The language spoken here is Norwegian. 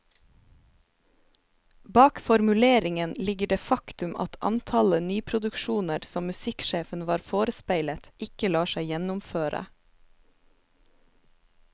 Bak formuleringen ligger det faktum at antallet nyproduksjoner som musikksjefen var forespeilet, ikke lar seg gjennomføre.